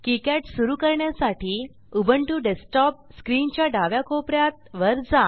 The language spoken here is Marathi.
किकाड सुरू करण्यासाठी उबुंटू डेस्कटॉप स्क्रीनच्या डाव्या कोप यात वर जा